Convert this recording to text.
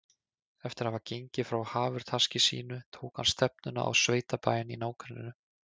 Eftir að hafa gengið frá hafurtaski sínu tók hann stefnuna á sveitabæinn í nágrenninu.